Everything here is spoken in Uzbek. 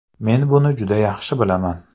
Men buni juda yaxshi bilaman.